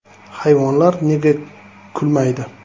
Hayvonlar nega kulmaydi?.